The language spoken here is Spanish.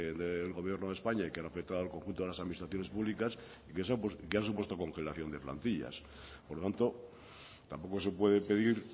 del gobierno de españa y que han afectado al conjunto de las administraciones públicas y que han supuesto congelación de plantillas por lo tanto tampoco se puede pedir